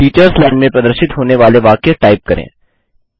teachers line में प्रदर्शित होने वाले वाक्य टाइप करें